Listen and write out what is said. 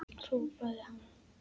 hrópaði hann.